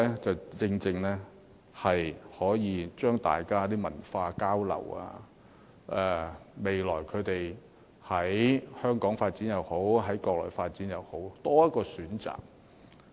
這正正可以讓大家進行文化交流，未來他們無論在香港發展也好、在國內發展也好，總有多一個選擇。